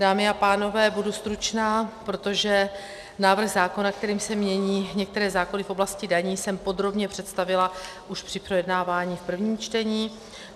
Dámy a pánové, budu stručná, protože návrh zákona, kterým se mění některé zákony v oblasti daní, jsem podrobně představila už při projednávání v prvním čtení.